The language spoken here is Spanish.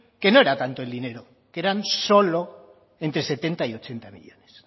que no era tanto el dinero que eran solo entre setenta y ochenta millónes